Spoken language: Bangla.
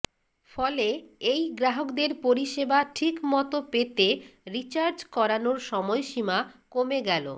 ফলে এই গ্রাহকদের পরিষেবা ঠিক মতো পেতে রির্চাজ করানোর সময়সীমা কমে গেল